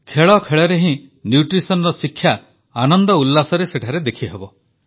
ଖେଳଖେଳରେ ହିଁ ପୋଷଣର ଶିକ୍ଷା ସେଠାରେ ଦେଖିହେବ